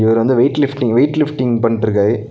இவரு வந்து weight lifting weight lifting பண்ட்ருக்காரு.